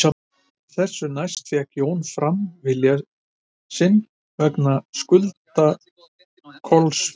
Þessu næst fékk Jón fram vilja sinn vegna skulda Kolls við Einar